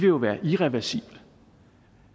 jo være irreversible